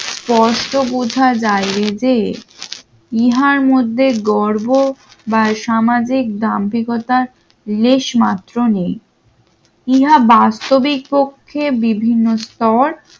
স্পষ্ট বুঝা যায় রে যে ইহার মধ্যে গর্ব বা সামাজিক দাম্ভিকতার লেশমাত্র নেই। ইহা বাস্তবিক কক্ষে বিভিন্ন স্তর